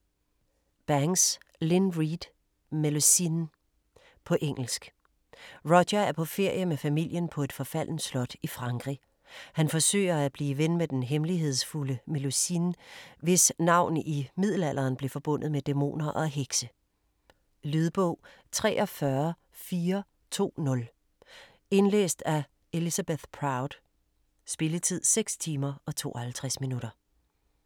Banks, Lynne Reid: Melusine På engelsk. Roger er på ferie med familien på et forfaldent slot i Frankrig. Han forsøger at blive ven med den hemmelighedsfulde Melusine, hvis navn i middelalderen blev forbundet med dæmoner og hekse. Lydbog 43420 Indlæst af Elizabeth Proud. Spilletid: 6 timer, 52 minutter.